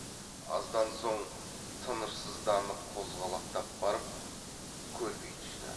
аздан соң тынышсызданып қозғалақтап барып көлбей түсті